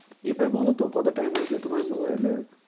এবার বলতো কত time হয়েছে তোমার mobile এ